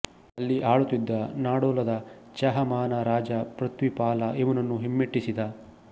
ಅಲ್ಲಿ ಆಳುತ್ತಿದ್ದ ನಾಡೋಲದ ಚಾಹಮಾನ ರಾಜ ಪೃಥ್ವೀಪಾಲ ಇವನನ್ನು ಹಿಮ್ಮೆಟ್ಟಿಸಿದ